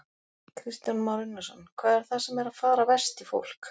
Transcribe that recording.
Kristján Már Unnarsson: Hvað er það sem er að fara verst í fólk?